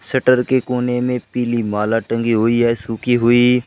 Shutter के कोने में पीली माला टंगी हुई है सुखी हुई।